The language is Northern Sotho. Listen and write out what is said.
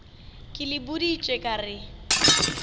ke le boditše ka re